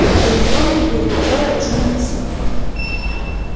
об электронной буре которая уже на носу